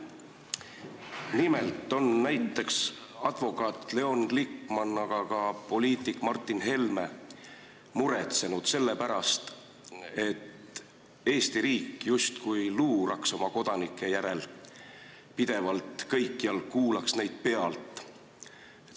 Nimelt on näiteks advokaat Leon Glikman ja ka poliitik Martin Helme muretsenud selle pärast, et Eesti riik justkui luurab oma kodanike järel pidevalt kõikjal, kuulab neid pealt.